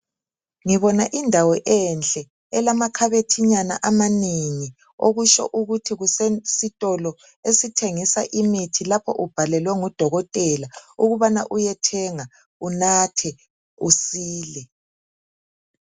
Ngibona indawo enhle, elama khabothinyana amanengi okusho ukuthi kusesitolo esithengisa imithi lapho ubhalelwe ngudokotela ukubana uyethenga unathe, usile.